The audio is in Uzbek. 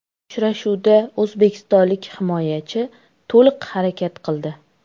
Uchrashuvda o‘zbekistonlik himoyachi to‘liq harakat qildi.